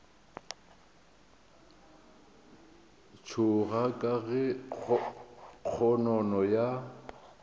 tšhoga ka ge kgonono ya